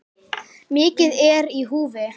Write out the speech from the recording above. Mikið er í húfi.